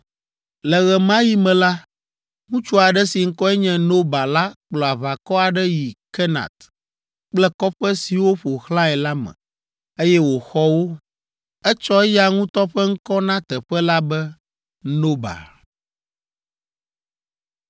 Le ɣe ma ɣi me la, ŋutsu aɖe si ŋkɔe nye Noba la kplɔ aʋakɔ aɖe yi Kenat kple kɔƒe siwo ƒo xlãe la me, eye wòxɔ wo. Etsɔ eya ŋutɔ ƒe ŋkɔ na teƒe la be Noba.